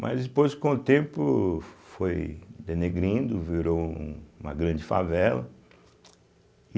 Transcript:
Mas depois, com o tempo, foi denegrindo, virou um uma grande favela.